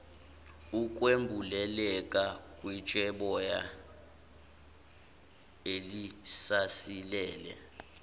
ukwembuleleka kwitsheboya elisasilele